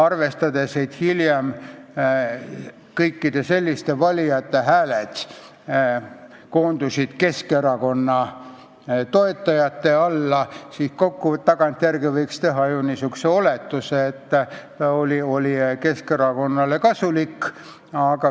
Arvestades, et hiljem koondusid kõikide selliste valijate hääled Keskerakonna alla, siis võiks teha ju niisuguse oletuse, et see oli kasulik Keskerakonnale.